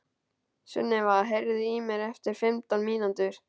Sunniva, heyrðu í mér eftir fimmtán mínútur.